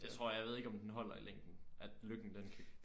Jeg tror jeg ved ikke om den holder i længden at lykken den kan